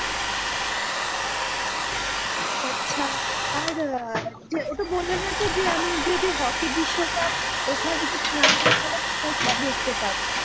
আচ্ছা আর আহ ওটা বললে না তো যে আমি যদি হকি বিশ্বকাপ ওখানে কোথায় দেখতে পারি?